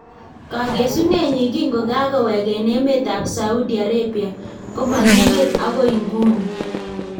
Kakesuneenyin kinkokakoweek en emeetab Saudi Arabia komakingen agoi inguni